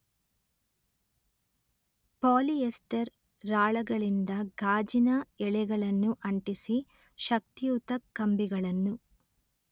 ಪಾಲಿ ester ರಾಳಗಳಿಂದ ಗಾಜಿನ ಎಳೆಗಳನ್ನು ಅಂಟಿಸಿ ಶಕ್ತಿಯುತ ಕಂಬಿಗಳನ್ನು